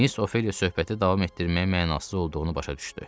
Mis Ofeliya söhbəti davam etdirməyin mənasız olduğunu başa düşdü.